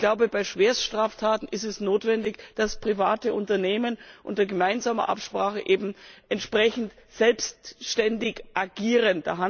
Ich glaube, bei Schwerststraftaten ist es notwendig, dass private Unternehmen unter gemeinsamer Absprache eben entsprechend selbständig agieren.